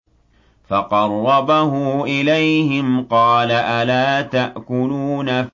فَقَرَّبَهُ إِلَيْهِمْ قَالَ أَلَا تَأْكُلُونَ